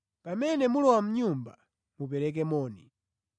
Pamene mulowa mʼnyumba mupereke moni.